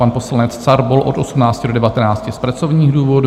pan poslanec Carbol - od 18 do 19 z pracovních důvodů;